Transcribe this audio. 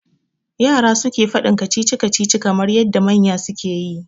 Yara suke faɗin Kacici kacici kamar yadda manya suke yi